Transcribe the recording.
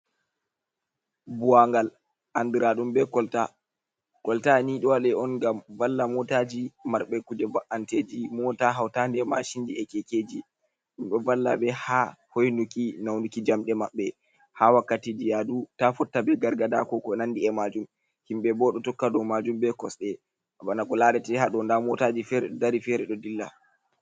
Buwangal andiraɗum be kolta, kolta ni ɗo waɗe on ngam valla motaji marɓe kuje ba’anteji mota, hautande ma shinji, e kekeji, ɗum ɗo valla be ha hoinuki naunuki jamɗe maɓɓe ha wakkati ji yadu ta fotta be gargada ɓe ko nandi e majum, himɓe ɓo ɗo tokka dou majum be kosɗe bana ko larate ha ɗou nda motaji fere ɗo dari, fere ɗo dilla.